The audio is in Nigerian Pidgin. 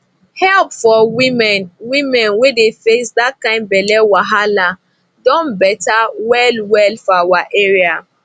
help for women women wey dey face that kind belle wahala don better well well for our area